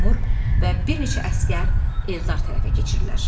Teymur və bir neçə əsgər Eldar tərəfə keçirlər.